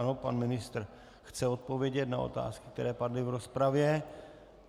Ano, pan ministr chce odpovědět na otázky, které padly v rozpravě.